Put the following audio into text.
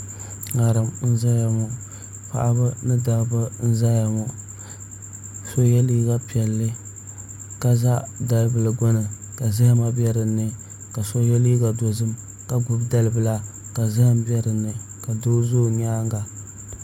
ŋarim n ʒɛya ŋɔ paɣaba ni dabba n ʒɛya ŋɔ so yɛ liiga piɛlli ka za dalibili gbuni ka zahama bɛ dinni ka so yɛ liiga dozim ka gbubi dalibila ka zaham bɛ dinni ka doo ʒɛ o nyaanga